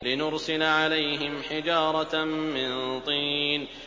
لِنُرْسِلَ عَلَيْهِمْ حِجَارَةً مِّن طِينٍ